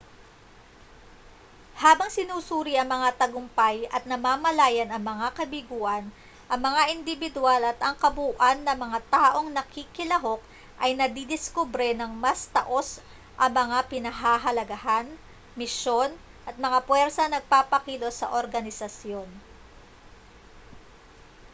habang sinusuri ang mga tagumpay at namamalayan ang mga kabiguan ang mga indibidwal at ang kabuuan ng mga taong nakikilahok ay nadidiskubre nang mas taos ang mga pinahahalagahan misyon at mga puwersang nagpapakilos sa organisasyon